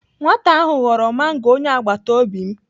Nwata ahụ ghọrọ mango onye agbataobi m..